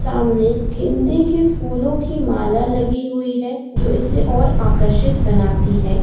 समने गेन्दो के फूलों की माला लगी हुई है जो इसे और आकर्षित बनती है।